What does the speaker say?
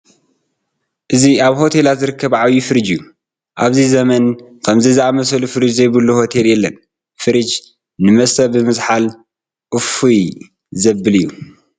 እዚ ኣብ ሆቴላት ዝርከብ ዓብዪ ፍርጅ እዩ፡፡ ኣብዚ ዘመን ከምዚ ዝኣምሰለ ፍርጅ ዘይብሉ ሆቴል የለን፡፡ ፍሬጅ ንመስተ ብምዝሓል እፎይ ዘብል እዩ፡፡